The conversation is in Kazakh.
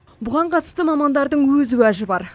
бұған қатысты мамандардың өз уәжі бар